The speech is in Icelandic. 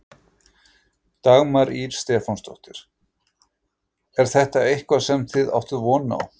Dagmar Ýr Stefánsdóttir: Er þetta eitthvað sem þið áttuð von á?